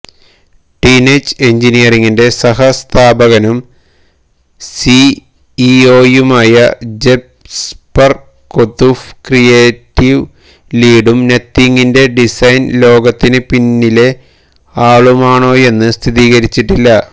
teenage എഞ്ചിനീയറിംഗിന്റെ സഹസ്ഥാപകനും സിഇഒയുമായ ജെസ്പര് കൊതൂഫ് ക്രിയേറ്റീവ് ലീഡും നത്തിങ്ങിന്റെ ഡിസൈന് ലോകത്തിന് പിന്നിലെ ആളുമാണോയെന്ന് സ്ഥിരീകരിച്ചിട്ടില്ല